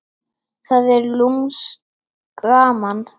Það er lúmskt gaman.